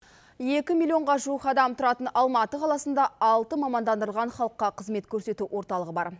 екі миллионға жуық адам тұратын алматы қаласында алты мамандандырылған халыққа қызмет көрсету орталығы бар